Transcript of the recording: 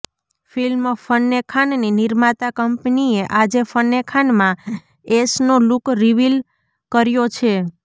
film Fanney ખાનની નિર્માતા કંપનીએ આજે ફન્ને ખાનમાં એશનો લુક રિવિલ કર્યો છે